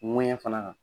Ŋuwɛɲɛ fana